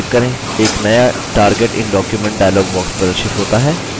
एक नया target in document dialog प्रदर्शित होता है